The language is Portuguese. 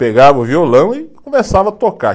Pegava o violão e começava a tocar.